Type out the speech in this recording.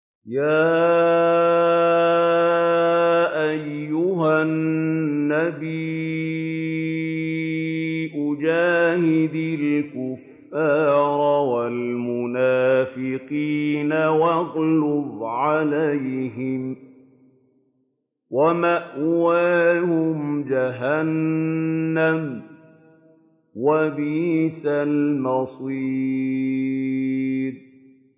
يَا أَيُّهَا النَّبِيُّ جَاهِدِ الْكُفَّارَ وَالْمُنَافِقِينَ وَاغْلُظْ عَلَيْهِمْ ۚ وَمَأْوَاهُمْ جَهَنَّمُ ۖ وَبِئْسَ الْمَصِيرُ